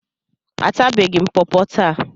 Atabeghị m pọpọ taa.